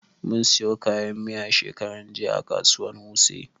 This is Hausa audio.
Mun siyo kayan miya shekaran jiya a kasuwan wuse